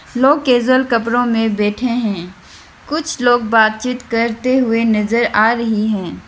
लोग कैजुअल कपड़ों में बैठे हैं कुछ लोग बातचीत करते हुए नजर आ रही है।